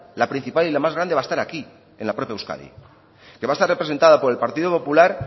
la principal y la más grande va a estar aquí en la propia euskadi que va a estar representada por el partido popular